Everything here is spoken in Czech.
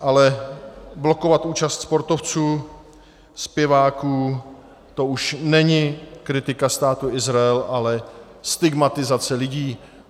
Ale blokovat účast sportovců, zpěváků, to už není kritika Státu Izrael, ale stigmatizace lidí.